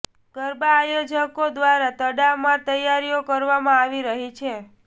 ગરબા આયોજકો દ્વારા તડામાર તૈયારીઓ કરવામાં આવી રહી છે